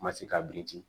Ma se ka biriki